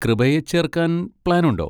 കൃപയെ ചേർക്കാൻ പ്ലാനുണ്ടോ?